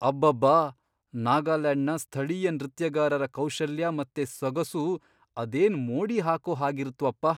ಅಬ್ಬಬ್ಬಾ! ನಾಗಾಲ್ಯಾಂಡ್ನ ಸ್ಥಳೀಯ ನೃತ್ಯಗಾರರ ಕೌಶಲ್ಯ ಮತ್ತೆ ಸೊಗಸು ಅದೇನ್ ಮೋಡಿ ಹಾಕೋ ಹಾಗಿರತ್ವಪ್ಪ!